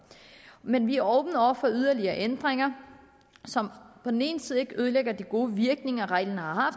men vi er åbne over for yderligere ændringer som på den ene side ikke ødelægger de gode virkninger reglen har